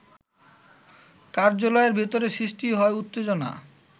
কার্যালয়ের ভেতরে সৃষ্টি হয় উত্তেজনা